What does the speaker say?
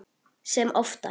Sem oftar.